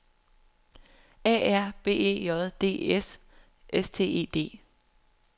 A R B E J D S S T E D